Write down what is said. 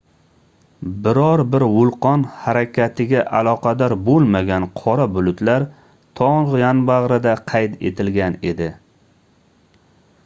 biror bir vulqon harakatiga aloqador boʻlmagan qora bulutlar togʻ yonbagʻrida qayd etilgan edi